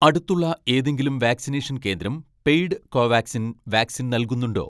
അടുത്തുള്ള ഏതെങ്കിലും വാക്‌സിനേഷൻ കേന്ദ്രം പെയ്ഡ് കോവാക്സിൻ വാക്സിൻ നൽകുന്നുണ്ടോ